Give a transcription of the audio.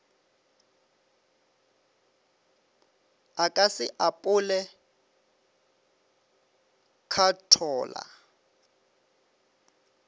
a ka se apole khathola